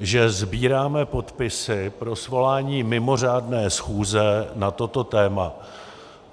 že sbíráme podpisy pro svolání mimořádné schůze na toto téma.